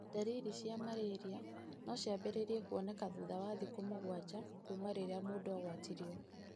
Ndariri cia malaria no ciambĩrĩrie kuoneka thutha wa thikũ mũgwanja kuuma rĩrĩa mũndũ agwatirio.